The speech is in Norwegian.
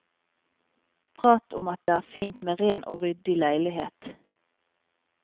Prat om at det er fint med ren og ryddig leilighet.